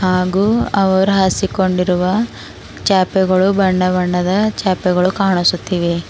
ಹಾಗು ಅವರು ಹಾಸಿಕೊಂಡಿರುವ ಚಾಪೆಗಳು ಬಣ್ಣಬಣ್ಣದ ಚಾಪೆಗಳು ಕಾಣಿಸುತ್ತಿವೆ.